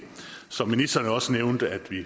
som ministeren også nævnte at vi